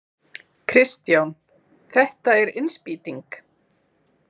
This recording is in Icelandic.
Kristján: Þetta er innspýting?